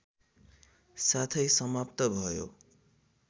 साथै समाप्त भयो